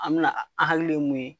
An mi na an hakili ye mun ye